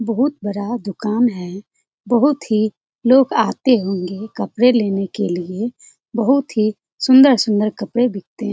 बहुत बड़ा दुकान है बहुत ही लोग आते होंगे कपड़े लेने के लिए बहुत ही सुंदर-सुंदर कपड़े बिकते हैं।